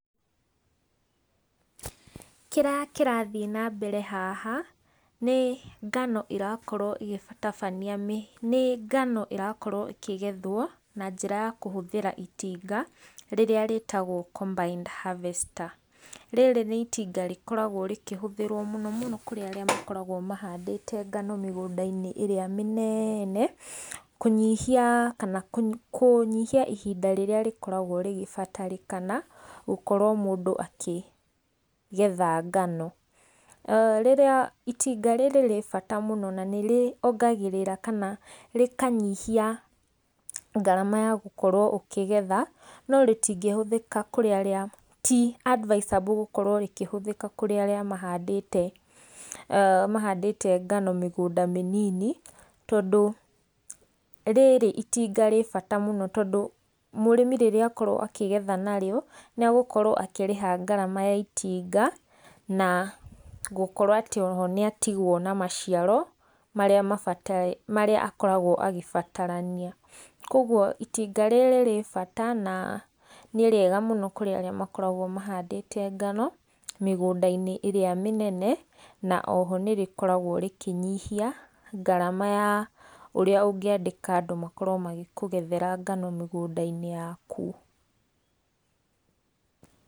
Kĩrĩa kĩrathiĩ na mbere haha nĩ ngano ĩrakorwo ĩgĩtabania, nĩ ngano ĩrakorwo ĩkĩgethwo na njĩra ya kũhũthĩra itinga rĩrĩa rĩtagwo combined harvester. Rĩrĩ nĩ itinga rĩkoragwo rĩkĩhũthĩrwo mũno mũno kũrĩ arĩa makoragwo mahandĩte ngano mĩgũnda-inĩ ĩrĩa mĩnene, kũnyihia kana kũnyihia ihinda rĩrĩa rĩkoragwo rĩgĩbatarĩkana gũkorwo mũndũ akĩgetha ngano. Rĩrĩa, itinga rĩrĩ rĩ bata mũno na nĩ rĩongagĩrĩra kana rĩkanyihia ngarama ya gũkorwo ũkĩgetha no rĩtingĩhũthĩka kũrĩ arĩa ti advisable gũkorwo rĩkihũthĩka kũrĩ arĩa mahandĩte ngano mĩgũnda mĩnini tondũ rĩrĩ itinga rĩ bata mũno tondũ mũrĩmi rĩrĩa akorwo akĩgetha narĩo, nĩ agukorwo akĩrĩha ngarama ya itinga na gũkorwo atĩ o ro ho nĩ atigwo na maciaro marĩa akoragwo agĩbatarania kogwo itinga rĩrĩ rĩ bata na nĩ rĩega mũno kũrĩ arĩa makoragwo mahandĩte ngano mĩgũnda-inĩ ĩrĩa mĩnene na oho nĩ rĩkoragwo rĩkĩnyihia ngarama ya ũrĩa ungĩandĩka andũ makorwo magĩkugethera ngano mĩgũnda-inĩ yaku.